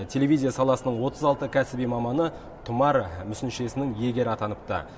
телевизия саласының отыз алты кәсіби маманы тұмар мүсіншесінің иегері атаныпты